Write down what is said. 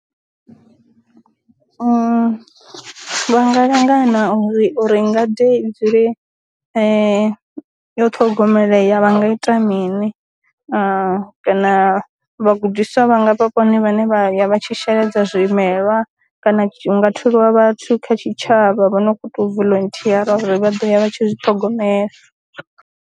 Vha nga langana uri ngade i dzule yo ṱhogomeleya vha nga ita mini, kana vha gudiswa vhanga vha vhone vhane vha ya vhatshi sheledza zwimelwa, kana hu nga tholiwa vhathu kha tshi tshavha vho no khou tou voluntiyara uri vha ḓo ya vha tshi zwi ṱhogomela.